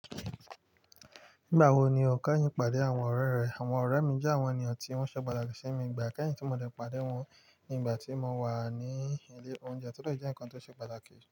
Nígbà wo ni o kẹ́yìn pàdé àwọn ọ̀rẹ́ rẹ? Àwọn ọ̀rẹ́ mi jẹ́ àwọn ènìyàn tí wọ́n ṣe pàtàkì sí mi, ìgbà kẹ́yìn tí mo dẹ̀ pàdé wọn ní ìgbà tí mo wà ní ilé oúnjẹ, tó de jẹ́ ǹkan ti o ṣe pàtàkì.